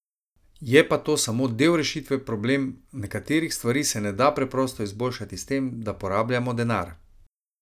Je pa to samo del rešitve problem, nekaterih stvari se na da preprosto izboljšati s tem, da porabljamo denar.